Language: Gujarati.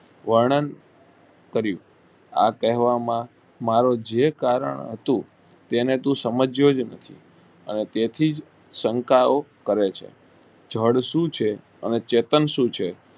વર્ણન કરિયું આ કહેવા માં મારુ એ કારણ હતું તેને તું સમજ્યો જ નથી અને તેથી જ શંકા ઓ કરે છે જડ શું છે અને ચેતન શું છે.